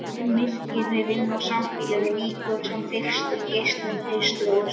Myrkrið inni á sambýlinu víkur senn fyrir fyrstu geislum haustsólarinnar.